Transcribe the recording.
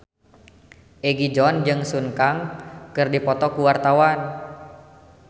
Egi John jeung Sun Kang keur dipoto ku wartawan